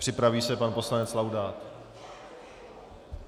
Připraví se pan poslanec Laudát.